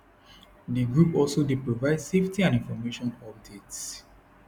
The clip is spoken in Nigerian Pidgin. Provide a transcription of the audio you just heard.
di group also dey provide safety and information updates